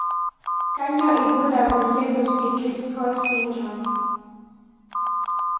Kanyio ibulabul le Lucey Driscoll syndrome?